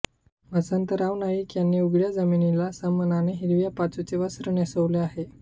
वसंतराव नाईक यांनी उघडया जमिनीला सन्मानाने हिरव्या पाचूचे वस्त्र नेसवले आहे